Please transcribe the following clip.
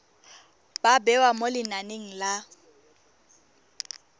ba bewa mo lenaneng la